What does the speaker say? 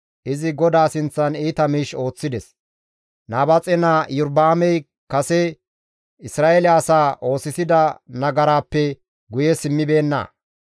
Izi GODAA sinththan iita miish ooththides; Nabaaxe naa Iyorba7aamey kase Isra7eele asaa oosisida nagaraappe guye simmibeenna.